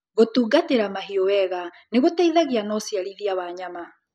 Gũtungatĩra mahiũ wega nĩgũteithagia na ũciarithia wa nyama.